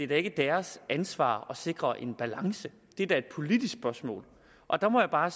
det er ikke deres ansvar at sikre en balance det er da et politisk spørgsmål og der må jeg bare